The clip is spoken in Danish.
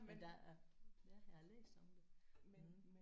Men der er ja jeg har læst om det mh